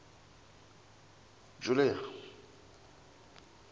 julia